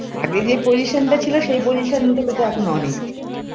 আগে যে position টা ছিল সেই position থেকে তো এখন অনেক